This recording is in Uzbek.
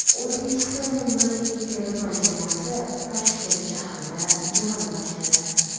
O‘zbekiston milliy terma jamoasi Toshkent shahrida yig‘in boshladi.